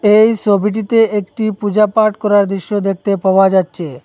এই সোবিটিতে একটি পুজাপাঠ করার দৃশ্য দেখতে পাওয়া যাচচে।